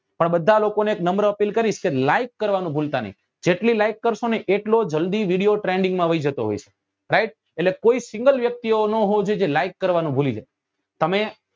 પણ બધા લોકો ને એક નમ્ર અપીલ કકરીશ કે like કરવા નું ભૂલતા નહિ જેટલી like કરસો ને એટલો જલ્દી trending માં વયી જતો હોય છે right એટલે કોઈ single વ્યક્તિ એવો નાં હોવો જોઈએ જે like કરવા નું ભૂલી જાય તમે